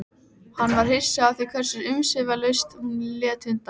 Hann varð hissa á því hversu umsvifalaust hún lét undan.